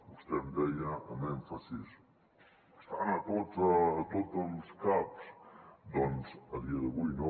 vostè em deia amb èmfasi estan a tots els caps doncs a dia d’avui no